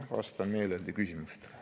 Vastan meeleldi küsimustele.